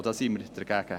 Da sind wir dagegen.